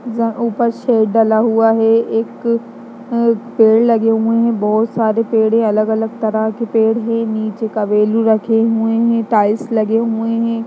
ऊपर शेड डला हुआ है एक पेड़ लगे हुए है बोहोत सारे पेड़ है अलग-अलग तरह के पेड़ है नीचे का रखे हुए है टाइल्स लगे हुए हैं।